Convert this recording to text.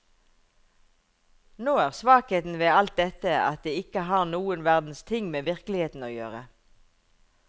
Nå er svakheten ved alt dette at det ikke har noen verdens ting med virkeligheten å gjøre.